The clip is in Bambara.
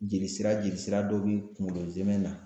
Jeli sira jeli sira dɔ bi kuŋolo zɛmɛ na